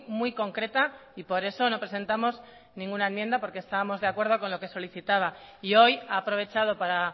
muy concreta y por eso no presentamos ninguna enmienda porque estábamos de acuerdo con lo que solicitaba y hoy ha aprovechado para